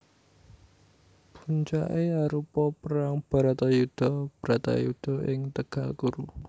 Puncaké arupa perang Bharatayuddha Bratayuda ing tegal Kuru